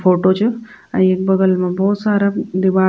फोटो च अर येक बगल मा भोत सारा दीवाल --